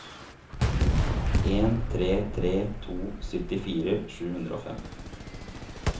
en tre tre to syttifire sju hundre og fem